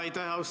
Aitäh!